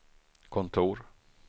kontor